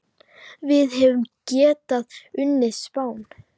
Við hefðum getað unnið Spán.